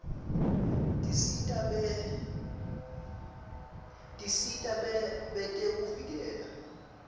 tisita betekuvikeleka